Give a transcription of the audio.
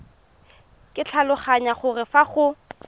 ke tlhaloganya gore fa go